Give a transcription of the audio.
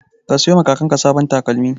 Ka siyowa kakanka sababbin takalma.